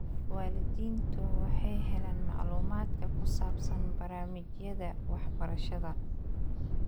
Waalidiintu waxay helaan macluumaadka ku saabsan barnaamijyada waxbarashada.